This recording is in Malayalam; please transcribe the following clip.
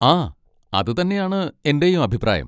ആ, അത് തന്നെയാണ് എൻ്റെയും അഭിപ്രായം.